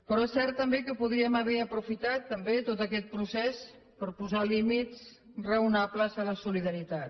però és cert també que podríem haver aprofitat tot aquest procés per posar límits raonables a la solidaritat